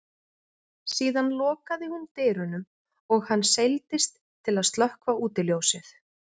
Síðan lokaði hún dyrunum og hann seildist til að slökkva útiljósið.